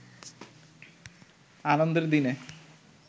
আনন্দের দিনে